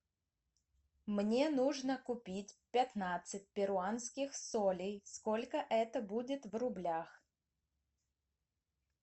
мне нужно купить пятнадцать перуанских солей сколько это будет в рублях